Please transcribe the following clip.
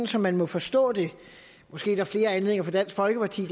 som man må forstå det måske er der flere anledninger fra dansk folkepartis